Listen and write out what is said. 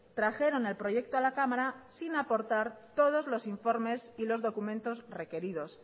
trajeron el proyecto a la cámara sin aportar todos los informes y documentos requeridos